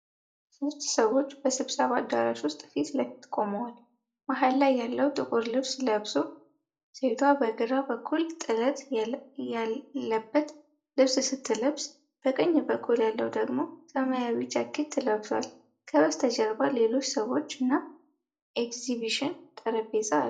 ሶስት ሰዎች በስብሰባ አዳራሽ ውስጥ ፊት ለፊት ቆመዋል። መሃል ላይ ያለው ጥቁር ልብስ ለብሶ፣ ሴቷ በግራ በኩል ጥለት ያለበት ልብስ ስትለብስ፣ በቀኝ በኩል ያለው ደግሞ ሰማያዊ ጃኬት ለብሷል። ከበስተጀርባ ሌሎች ሰዎች እና ኤግዚቢሽን ጠረጴዛ አለ።